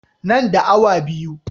Nan da awa biyu.